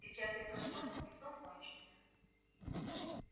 сейчас я проснусь и сон кончится